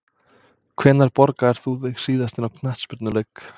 Hvenær borgaðir þú þig síðast inn á knattspyrnuleik?